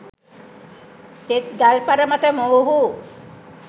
තෙත් ගල්පර මත මොවුහු